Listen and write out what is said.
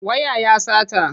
Waya ya sata.